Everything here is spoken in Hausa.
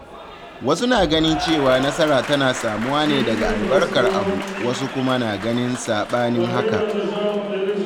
Wasu na ganin cewa nasara tana samuwa ne daga albarkar abu, wasu kuma na ganin saɓanin haka.